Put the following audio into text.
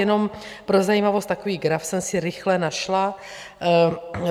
Jenom pro zajímavost, takový graf jsem si rychle našla.